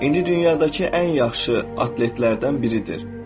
İndi dünyadakı ən yaxşı atletlərdən biridir.